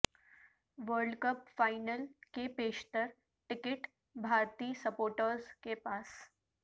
world cup final کے بیشتر ticket بھارتی سپورٹرز کے پاس